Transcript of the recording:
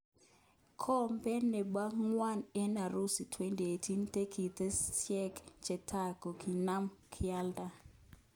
Kombe nebo ngwony en Urusi 2018:tiketishek chetai kokokinam kialda.